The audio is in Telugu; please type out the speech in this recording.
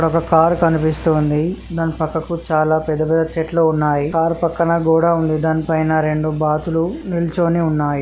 ఇక్కడ ఒక కారు కనిపిస్తుంది. దాని పక్కకు చాలా పెద్ద పెద్ద చెట్లు ఉన్నాయి. కారు పక్కన గోడ ఉంది. దాని పైన రెండు బాతులు నిల్చుని ఉన్నాయి.